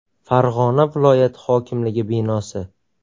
Farg‘ona viloyat hokimligi binosi.